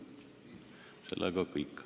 See on kõik.